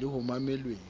le ho mamelweng